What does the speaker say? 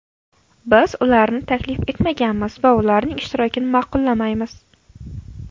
Biz ularni taklif etmaganmiz va ularning ishtirokini ma’qullamaymiz.